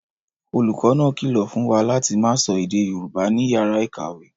Olùkọ́ náà kìlọ̀ fún wa láti máa sọ èdè Yorùbá ní yàrá ìkàwé